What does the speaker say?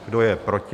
Kdo je proti?